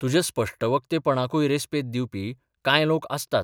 तुज्या स्पश्टवक्तेपणाकूय रेस्पेद दिवपी कांय लोक आसतात.